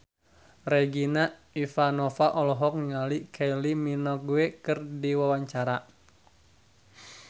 Regina Ivanova olohok ningali Kylie Minogue keur diwawancara